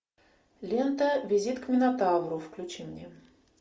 лента визит к минотавру включи мне